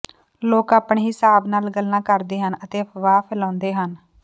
ਲੋਕ ਆਪਣੇ ਹਿਸਾਬ ਨਾਲ ਗੱਲਾਂ ਕਰਦੇ ਹਨ ਅਤੇ ਅਫਵਾਹ ਫੈਲਾਉਂਦੇ ਹਨ